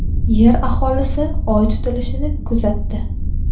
Yer aholisi Oy tutilishini kuzatdi.